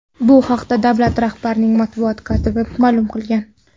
Bu haqda davlat rahbarining matbuot kotibi ma’lum qilgan.